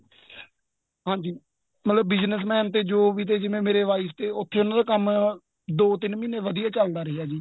ਹਾਂਜੀ ਮਤਲਬ business man ਤੇ ਜੋ ਵੀ ਤੇ ਜਿਵੇਂ ਮੇਰੇ wife ਤੇ ਉਥੇ ਉਹਨਾ ਦਾ ਕੰਮ ਦੋ ਤਿੰਨ ਮਹੀਨੇ ਵਧੀਆ ਚੱਲਦਾ ਰਿਹਾ ਜੀ